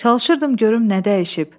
Çalışırdım görüm nə dəyişib.